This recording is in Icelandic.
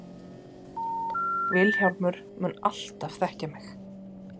Vilhjálmur mun alltaf þekkja mig.